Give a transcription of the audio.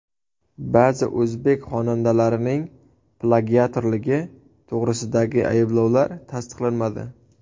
Ba’zi o‘zbek xonandalarining plagiatorligi to‘g‘risidagi ayblovlar tasdiqlanmadi.